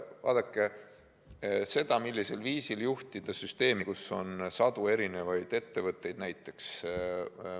Vaadake, raske on öelda, millisel viisil juhtida süsteemi, kus on sadu erinevaid ettevõtteid.